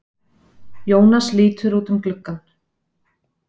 Jónas lítur út um gluggann.